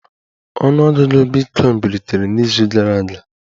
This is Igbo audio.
Ọnụ ọgụgụ bitcoin bilitere n'izu gara aga